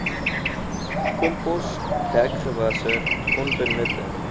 kompos dekgewasse onbenutte